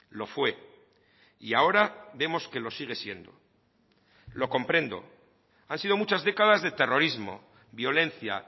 lo fue y ahora vemos que lo sigue siendo lo comprendo han sido muchas décadas de terrorismo violencia